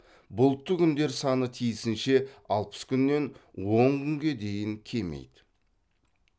бұлтты күндер саны тиісінше алпыс күннен он күнге дейін кемиді